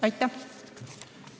Aitäh!